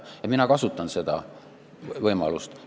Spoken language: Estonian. Ja mina kasutan seda võimalust.